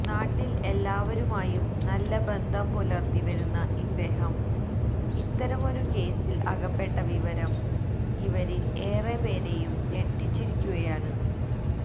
നാട്ടിൽ എല്ലാവരുമായും നല്ലബന്ധം പുലർത്തിവരുന്ന ഇദ്ദേഹം ഇത്തരമൊരുകേസ്സിൽ അകപ്പട്ട വിവരം ഇവരിൽ ഏറെപേരെയും ഞെട്ടിച്ചിരിക്കുകയാണ്്